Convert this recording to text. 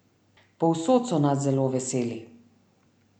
Povsod so nas zelo veseli.